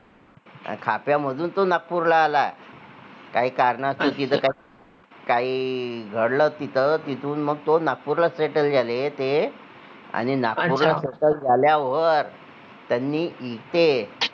आणि खाप्यामधून तो नागपूर ला आला काही कारणा काही घडलं तिथे, तिथून मग तो नागपूर ला settle झाले ते आणि नागपूर ला ला settle झाल्यावर त्यांनी इथे